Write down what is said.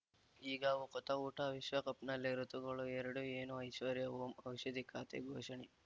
ಈಗ ಉಕುತ ಊಟ ವಿಶ್ವಕಪ್‌ನಲ್ಲಿ ಋತುಗಳು ಎರಡು ಏನು ಐಶ್ವರ್ಯಾ ಓಂ ಔಷಧಿ ಖಾತೆ ಘೋಷಣೆ